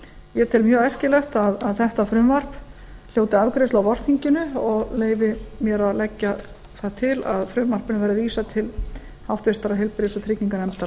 ég tel mjög æskilegt að þetta frumvarp hljóti afgreiðslu á vorþinginu og leyfi mér að leggja það til að frumvarpinu verði vísað til háttvirtrar heilbrigðis og trygginganefndar